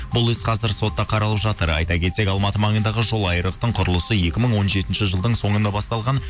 бұл іс қазір сотта қаралып жатыр айта кетсек алматы маңындағы жолайрықтың құрылысы екі мың он жетінші жылдың соңында басталған